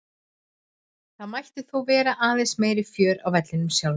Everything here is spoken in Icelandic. Það mætti þó vera aðeins meira fjör á vellinum sjálfum.